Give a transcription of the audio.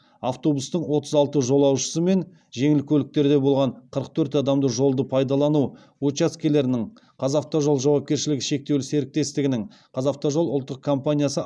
автобустың отыз алты жолаушысы мен жеңіл көліктерде болған қырық төрт адамды жолды пайдалану учаскелерінің қазақавтожол жауапкершілігі шектеулі серіктестігінің қазавтожол ұлттық компаниясы